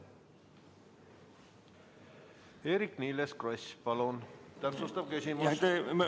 Eerik-Niiles Kross, palun täpsustav küsimus!